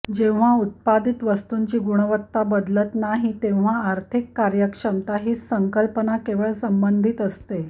जेव्हा उत्पादित वस्तूंची गुणवत्ता बदलत नाही तेव्हा आर्थिक कार्यक्षमता ही संकल्पना केवळ संबंधित असते